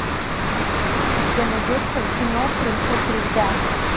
у тебя найдется кино принцесса льда